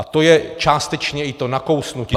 A to je částečně i to nakousnutí -